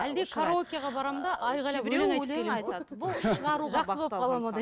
әлде караокеға барамын да айқайлап өлең